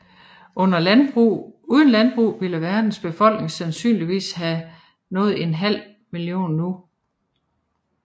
Uden landbrug ville verdens befolkning sandsynligvis have nået en halv million nu